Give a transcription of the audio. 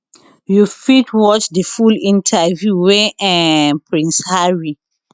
you fit watch di full interview wey um prince harry